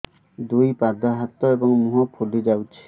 ଦୁଇ ପାଦ ହାତ ଏବଂ ମୁହଁ ଫୁଲି ଯାଉଛି